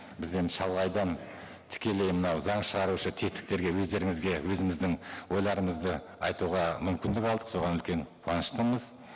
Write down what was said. біз енді шалғайдан тікелей мынау заң шығарушы тетіктерге өздеріңізге өзіміздің ойларымызды айтуға мүмкінді алдық соған үлкен қуаныштымыз